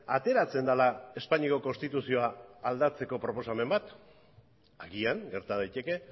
ateratzen dela espainiako konstituzioa aldatzeko proposamen bat agian gerta daiteke